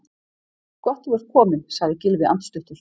Gott þú ert kominn- sagði Gylfi andstuttur.